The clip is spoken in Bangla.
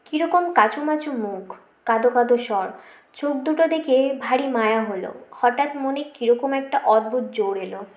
কি রকম কাচুমাচু মুখ কাদো কাদো স্বর চোখ দুটো দেখে ভারী মায়া হলো হঠাৎ মনে কি রকম একটা অদ্ভুত জোর এলো